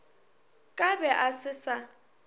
ka be a se sa